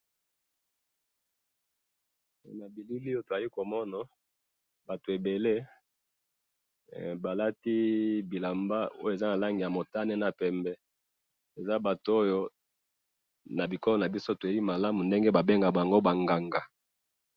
na bilili oyo na zali ko mona, bato ebele, ba lati bilamba oyo eza na langi ya motane na pembe, eza bato oyo na bikolo na biso toyebi malamu ndenge ba bengaka bango ba nganga